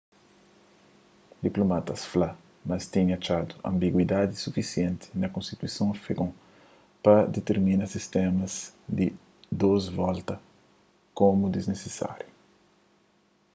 diplomatas fla ma es tinha atxadu anbiguidadi sufisienti na konstituison afegon pa ditirmina sistéma di dôs volta komu disnisisáriu